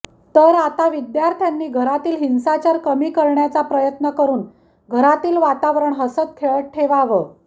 तर आता विद्यार्थ्यांनी घरातील हिंसाचार कमी करण्याचा प्रयत्न करून घरातील वातावरण हसतं खेळतं ठेवावं